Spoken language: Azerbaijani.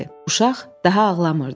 Uşaq daha ağlamırdı.